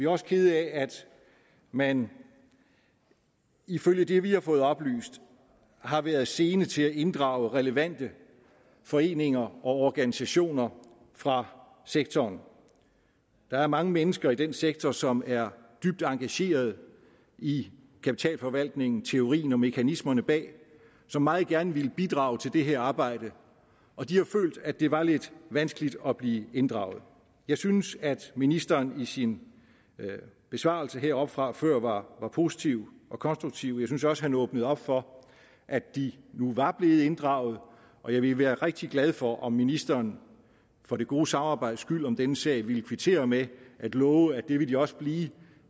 også kede af at man ifølge det vi har fået oplyst har været sene til at inddrage relevante foreninger og organisationer fra sektoren der er mange mennesker i den sektor som er dybt engagerede i kapitalforvaltning teorien og mekanismerne bag som meget gerne ville bidrage til det her arbejde og de har følt at det var lidt vanskeligt at blive inddraget jeg synes at ministeren i sin besvarelse heroppefra før var positiv og konstruktiv jeg synes også han åbnede op for at de nu var blevet inddraget og jeg ville være rigtig glad for om ministeren for det gode samarbejdes skyld om denne sag ville kvittere med at love at det vil de også blive